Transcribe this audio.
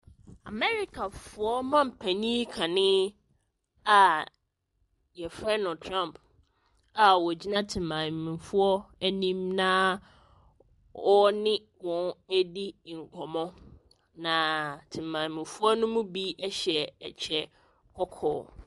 Americafoɔ mampanin kane a wɔfrɛ no Trump a ɔgyina temamufoɔ anim naaaa ɔne wɔn redi nkɔmmɔ. Na temamufoɔ no mu bi hyɛ ɛkyɛ kɔkɔɔ.